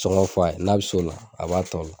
Sɔngɔ bɛ f'a ye n'a bɛ s'o la a b'a ta o la.